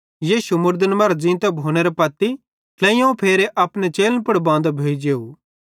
यीशु मुड़दन मरां ज़ींतो भोनेरां पत्ती ट्लेइयोवं फेरे अपने चेलन पुड़ बांदो भोइ जेव